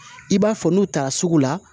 I b'a fɔ n'u taara sugu la